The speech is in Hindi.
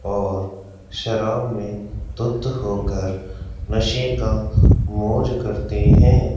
और शराब में धूत होकर नशे का मौज करते हैं।